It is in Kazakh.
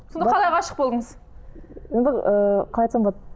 сонда қалай ғашық болдыңыз енді ыыы қалай айтсам болады